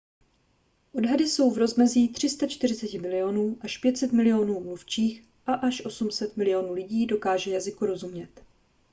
odhady jsou v rozmezí 340 milionů až 500 milionů mluvčích a až 800 milionů lidí dokáže jazyku rozumět